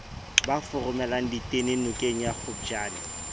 ba foromelang ditene nokengya kgopjane